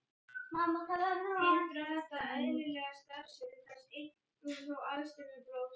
Hindrar þetta eðlilega starfsemi þess, einkum þó aðstreymi blóðsins.